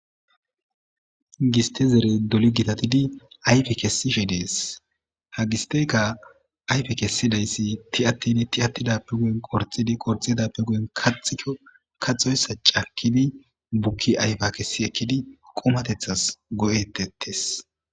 Gistte zerey doli gitatitidi ayfe kessishe de'es ha gisteykka ayfe kessidayssi tiyatidi tiyatida guyen qorxxidi qorxxidappe guyen kaxxiko kaxxoyssa cakkidi bukki ayfa kessi ekkidi qumateththas go'etettees.